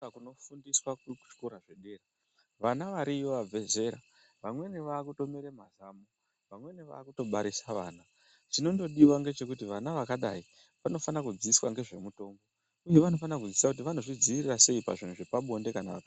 Kuno fundiswa kuchikora zvedera vana variyo vabve zera vamweni vakutomera mazamu, vamweni vakutobarisa vana. Chinondodiva ndechokuti vana vakadai vano fanira kudzidziswa ngezve mutombo, uye vanofanira kudzidziswa kuti vano zvidzivirira sei pazvinhu zvepabonde kana vakazviita.